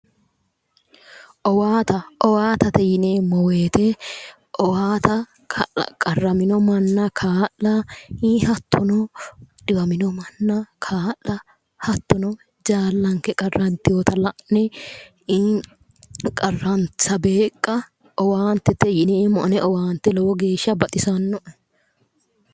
Owaata owaatate yineemmo woyiite owaata qarramino manna kaa'la hattono dhiwamino manna kaa'la hattono jaallanke qarranteyoota la'ne qarransa beeqqa owaantete yineemmo ane owaante lowo geeshsha baxisanno"e